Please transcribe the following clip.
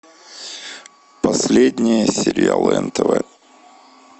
последние сериалы нтв